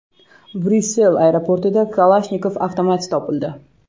Bryussel aeroportida Kalashnikov avtomati topildi.